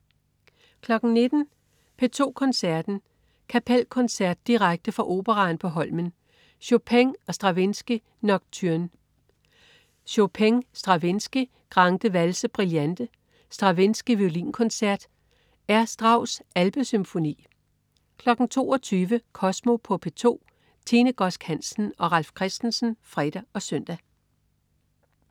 19.00 P2 Koncerten. Kapelkoncert. Direkte fra Operaen på Holmen. Chopin/Stravinsky: Nocturne. Chopin/Stravinsky: Grande valse brillante. Stravinsky: Violinkoncert. R: Strauss: Alpesymfoni 22.00 Kosmo på P2. Tine Godsk Hansen og Ralf Christensen (fre og søn)